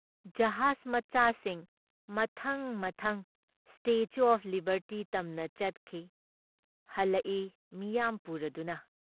ꯖꯍꯥꯖ ꯃꯆꯥꯁꯤꯡ ꯃꯊꯪ ꯃꯊꯪ ꯁ꯭ꯇꯦꯆꯨ ꯑꯣꯐ ꯂꯤꯕꯔꯇꯤ ꯇꯝꯅ ꯆꯠꯈꯤ, ꯍꯜꯂꯛꯏ ꯃꯤꯌꯥꯝ ꯄꯨꯔꯗꯨꯅ ꯫